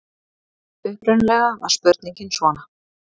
Upprunalega var spurningin svona: